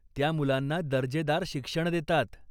त्या मुलांना दर्जेदार शिक्षण देतात.